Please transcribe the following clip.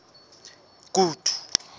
kutu